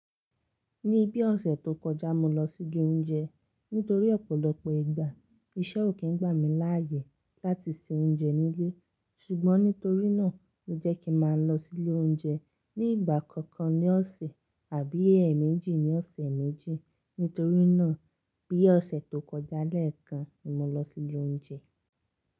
Ní bí ọ̀sẹ̀ tó kọjá, mo lọ sí ilé oúnjẹ. Nítorí ọ̀pọ̀lọpọ̀ ìgbà, iṣẹ́ ò kí ń gbà mí láàyè láti se oúnjẹ nílé. Ṣùgbọ́n nítorí náà ni ó jẹ́ kí má lọ sí ilé oúnjẹ ní ìgbà kọọkan ní ọ̀sẹ̀ àbí ẹ̀ẹ̀mẹ́jì ní ọ̀sẹ̀ méjì. Nítorí náà bí ọ̀sẹ̀ tó kọjá lẹ́ẹ̀kan ni mo lọ sí ilé oúnjẹ.